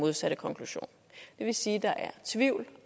modsatte konklusion det vil sige at der er tvivl